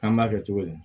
An b'a kɛ cogo di